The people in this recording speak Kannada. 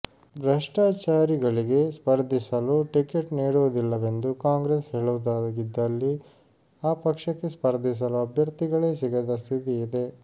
ಭ್ರಷ್ಟಾಚಾರಿ ಗಳಿಗೆ ಸ್ಪರ್ಧಿಸಲು ಟಿಕೆಟ್ ನೀಡುವು ದಿಲ್ಲವೆಂದು ಕಾಂಗ್ರೆಸ್ ಹೇಳುವುದಾಗಿದ್ದಲ್ಲಿ ಆ ಪಕ್ಷಕ್ಕೆ ಸ್ಪರ್ಧಿಸಲು ಅಭ್ಯರ್ಥಿಗಳೇ ಸಿಗದ ಸ್ಥಿತಿ ಇದೆ